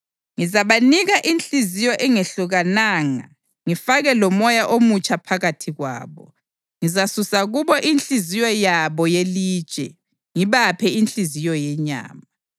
Ngizabanika inhliziyo engehlukananga ngifake lomoya omutsha phakathi kwabo; ngizasusa kubo inhliziyo yabo yelitshe ngibaphe inhliziyo yenyama.